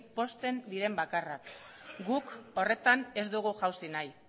pozten diren bakarrak guk horretan ez dugu jausi nahi